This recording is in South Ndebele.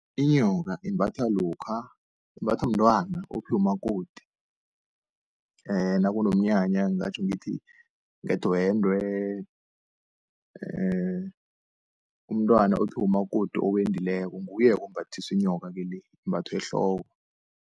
Inyoka imbathwa lokha, imbathwa mntwana ophiwa umakoti nakunomnyanya, ngingatjho ngithi ngedwende umntwana ophiwa umakoti owendileko nguye-ke ombathiswa inyoka-ke le imbathwa ehloko.